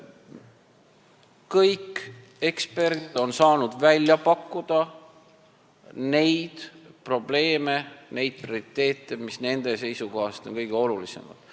Kõik eksperdid on saanud välja pakkuda neid probleeme ja prioriteete, mis on nende seisukohast kõige olulisemad.